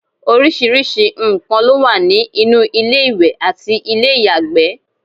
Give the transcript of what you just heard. oríṣiríṣi nnkan ló wà ní inú ilé ìwẹ̀ àti ilé ìyàgbẹ́